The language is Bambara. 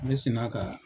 Ne sina ka